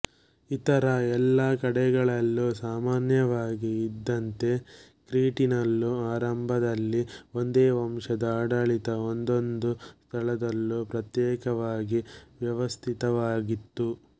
ಇತರ ಎಲ್ಲ ಕಡೆಗಳಲ್ಲೂ ಸಾಮಾನ್ಯವಾಗಿ ಇದ್ದಂತೆ ಕ್ರೀಟಿನಲ್ಲೂ ಆರಂಭದಲ್ಲಿ ಒಂದೇ ವಂಶದ ಆಡಳಿತ ಒಂದೊಂದು ಸ್ಥಳದಲ್ಲೂ ಪ್ರತ್ಯೇಕವಾಗಿ ವ್ಯವಸ್ಥಿತವಾಗಿತ್ತು